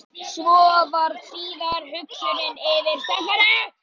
Svo varð síðari hugsunin yfirsterkari.